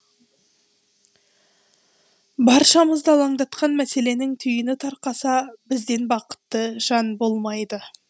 баршамызды алаңдатқан мәселенің түйіні тарқаса бізден бақытты жан болмайды